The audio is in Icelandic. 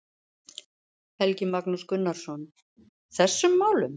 Helgi Magnús Gunnarsson: Þessum málum?